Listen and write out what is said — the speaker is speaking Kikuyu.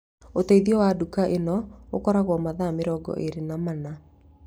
Ũteithio wa nduka ĩno ũkoragwo mathaa mĩrongo ĩĩrĩ na mana